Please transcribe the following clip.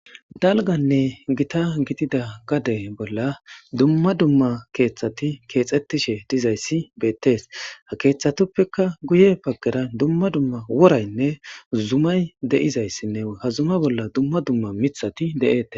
Dalganne gita gidida gade bolla dumma dumma keeththati keexettishe dizayssi beettees ha keeththatuppeka guye paggera dumma dumma woraynne zumay de'izayssinne hazuma bolla dumma dumma mithati de'ette.